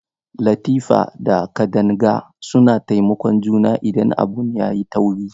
Latifa da Kadanga suna taimakon juna idan abu yayi tauri.